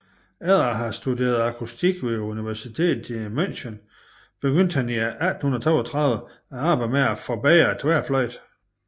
Efter at have studeret akustik ved universitetet i München begyndte han i 1832 arbejdet med at forbedre tværfløjten